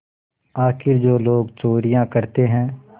आखिर जो लोग चोरियॉँ करते हैं